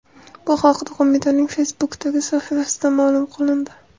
Bu haqda qo‘mitaning Facebook’dagi sahifasida ma’lum qilindi .